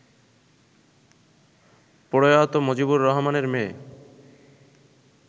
প্রয়াত মজিবর রহমানের মেয়ে